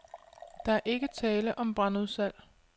Der er ikke tale om brandudsalg.